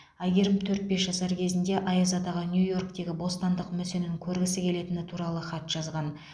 әйгерім төрт бес жасар кезінде аяз атаға нью йорктегі бостандық мүсінін көргісі келетіні туралы хат жазған